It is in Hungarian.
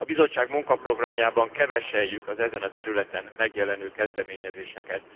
A Bizottság munkaprogramjában keveselljük az ezen a területen megjelenő kezdeményezéseket.